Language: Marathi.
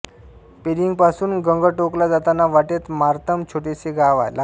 पेलिंगपासून गंगटोकला जाताना वाटेत मार्तम हे छोटेसे गाव लागते